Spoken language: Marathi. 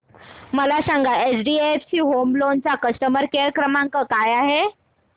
मला सांगा एचडीएफसी होम लोन चा कस्टमर केअर क्रमांक काय आहे